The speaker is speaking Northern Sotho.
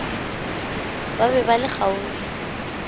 ba be ba le kgauswi